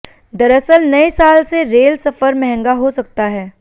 दरअसल नए साल से रेल सफर महंगा हो सकता है